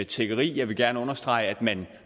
tiggeri jeg vil gerne understrege at man